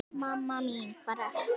Mamma mín hvar ertu?